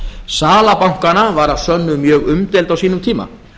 sala bankanna var að sönnu mjög umdeild á sínum tíma